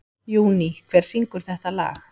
Júní, hver syngur þetta lag?